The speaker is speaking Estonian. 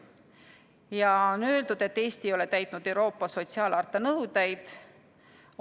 Ja on öeldud, et Eesti ei ole täitnud Euroopa sotsiaalharta nõudeid.